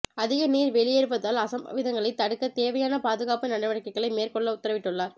அதிக நீர் வெளியேறுவதால் அசம்பாவிதங்களை தடுக்க தேவையான பாதுகாப்பு நடவடிக்கைகளை மேற்கொள்ள உத்தரவிட்டுள்ளார்